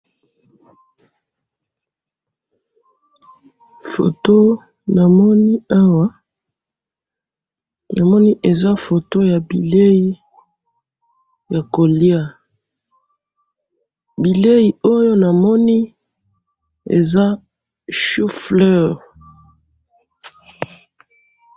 photo na moni awa na moni eza photo ya bileyi yako lia, bileyi oyo na moni eza choux fleurs